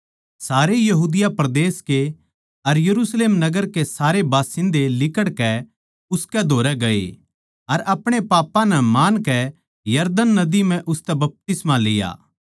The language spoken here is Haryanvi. सारे यहूदिया परदेस के अर यरुशलेम नगर के सारे बासिन्दे लिकड़कै उसकै धोरै गए अर अपणे पापां नै मानकै यरदन नदी म्ह उसतै बपतिस्मा लिया